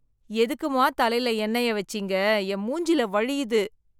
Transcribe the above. எதுக்கும்மா, தலையில எண்ணெய வெச்சீங்க என் மூஞ்சில வழியுது.